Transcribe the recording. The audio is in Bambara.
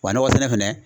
Wa nɔgɔ sɛnɛ